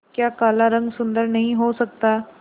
क्या काला रंग सुंदर नहीं हो सकता